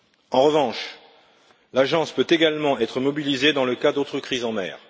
En revanche, l'Agence peut également être mobilisée dans le cas d'autres crises en mer.